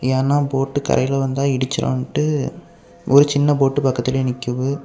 ஏனா போட்டு கரைக்கு வந்தா இடிச்சிருன்னுட்டு ஒரு சின்ன போட்டு பக்கத்துலயே நிக்குது.